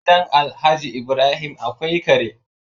Gidan Alhaji Ibrahim akwai Kare